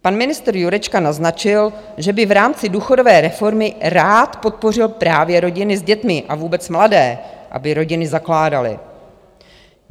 Pan ministr Jurečka naznačil, že by v rámci důchodové reformy rád podpořil právě rodiny s dětmi a vůbec mladé, aby rodiny zakládali.